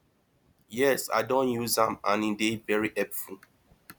yes i don use am and e dey very helpful